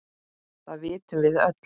Það vitum við öll.